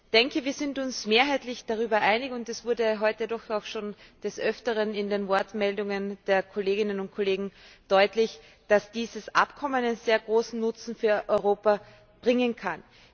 Ich denke, wir sind uns mehrheitlich darüber einig und es wurde heute doch auch schon des Öfteren in den Wortmeldungen der Kolleginnen und Kollegen deutlich, dass dieses Abkommen einen sehr großen Nutzen für Europa bringen kann.